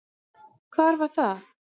Hvar var það?